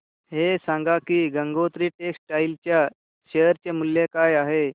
हे सांगा की गंगोत्री टेक्स्टाइल च्या शेअर चे मूल्य काय आहे